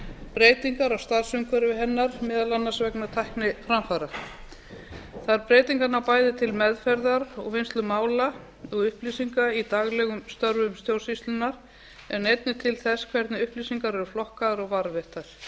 breytingar á starfsumhverfi hennar meðal annars vegna tækniframfara þær breytingar ná bæði til meðferðar og vinnslu mála og upplýsinga í daglegum störfum stjórnsýslunnar en einnig til þess hvernig upplýsingar eru flokkaðar og varðveittar